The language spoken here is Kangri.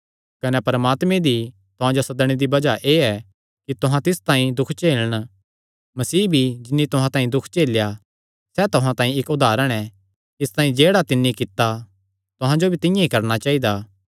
कने परमात्मे दी तुहां जो सदणे दी बज़ाह एह़ ऐ कि तुहां तिस तांई दुख झेलन मसीह भी जिन्नी तुहां तांई दुख झेलेया सैह़ तुहां तांई इक्क उदारण ऐ इसतांई जेह्ड़ा तिन्नी कित्ता तुहां जो भी तिंआं ई करणा चाइदा